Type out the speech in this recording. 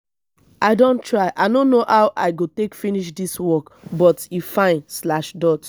i don try i no know how i go take finish dis work but e fine slash dot